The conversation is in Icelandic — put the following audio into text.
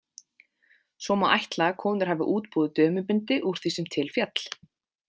Svo má ætla að konur hafi útbúið dömubindi úr því sem til féll.